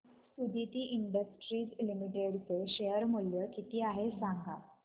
Suditi Industries Limited चे share मूल्य किती आहे सांगा